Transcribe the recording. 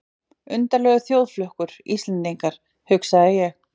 Undarlegur þjóðflokkur, Íslendingar, hugsaði ég.